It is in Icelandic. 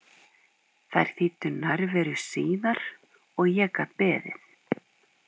Þær þýddu nærveru síðar og ég gat beðið.